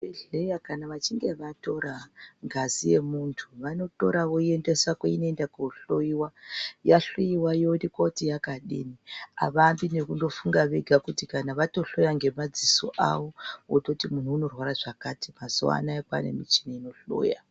Vemuzvibhedhlera kana achinge vatora ngazi yemuntu vanotora voyiendesa kwavanoenda kuno hloyiwa yasvika yoyahloyiwa yooneka kuti yakadini havambi ngekumbofunga vega kuti kana vaotohloya nemadziso avokuti munhu unozwa zvakati mazuva anoaya kwavane michini inohloya.